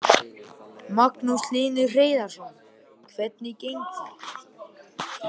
Magnús Hlynur Hreiðarsson: Hvernig gengur?